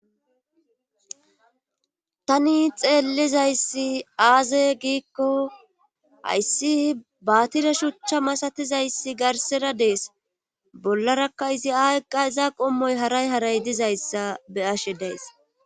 Tani xeellizayssi aaze giikko hayssi baatire shuchcha masatizayssi garsera dees bollarakka izi ayqqa iza qommoy haray haray dizayssa be ashe dees.